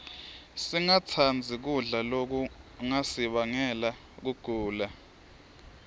singatsandzi kudla lokungasibangela kugula